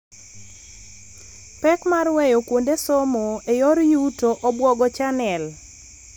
Pek mar weyo kuonde somo e yor yuto obwogo channel.